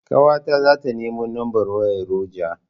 Ƙawata zata nemo lambar wayar ruger.